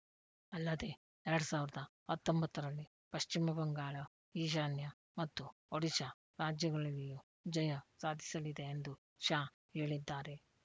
ಅಲ್ಲದೆ ಎರಡ್ ಸಾವಿರದ ಹತ್ತೊಂಬತ್ತು ರಲ್ಲಿ ಪಶ್ಚಿಮ ಬಂಗಾಳ ಈಶಾನ್ಯ ಮತ್ತು ಒಡಿಶಾ ರಾಜ್ಯಗಳಲ್ಲಿಯೂ ಜಯ ಸಾಧಿಸಲಿದೆ ಎಂದು ಶಾ ಹೇಳಿದ್ದಾರೆ